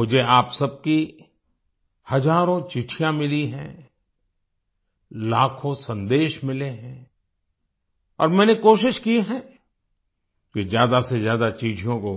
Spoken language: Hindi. मुझे आप सबकी हजारों चिट्ठियाँ मिली हैं लाखों सन्देश मिले हैं और मैंने कोशिश की है कि ज्यादा से ज्यादा चिट्ठियों को